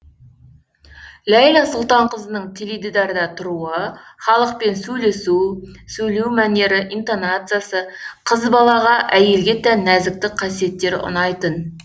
ләйлә сұлтанқызының теледидарда тұруы халықпен сөйлесу сөйлеу мәнері интонациясы қыз балаға әйелге тән нәзіктік қасиеттері ұнайтын